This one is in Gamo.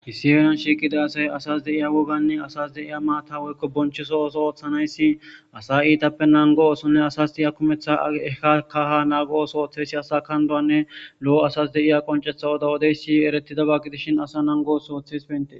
hissieriyan shiiqida asay asas de iya woganne asas de iya maata woykko bonchoso ooso ooththanayssi asa iitappe nango oosonne asas diya kumeththa eka kaha naago7oso ooththeysi asa kanduwanne lo7o asas de iya qoncetha woda wodeysi eretidaba gidishin asa nangoos oothes pente